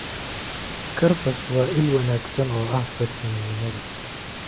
Karafs waa il wanaagsan oo ah fiitamiinnada.